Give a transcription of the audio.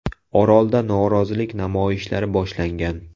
Orolda norozilik namoyishlari boshlangan.